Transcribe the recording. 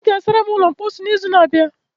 ị ga-asara m ulo mposi n'izu na-abịa?